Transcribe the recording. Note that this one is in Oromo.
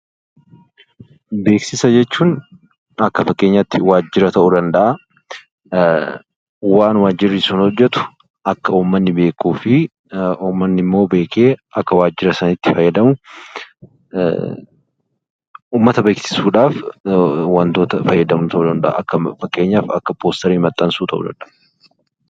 Beeksisa jechuun akka fakkeenyyaatti waajjira ta'uu danda'a waan waajjiri sun hojjettu akka uummanni beeku uummanni immoo beekee akka waajjira sanatti fayyadamu uummata beeksisuudhaat wantoota fayyadaman ta'uu danda'a fakkeenyaaf akka barjaalee( poosterii) maxxansuu ta'uu danda'a.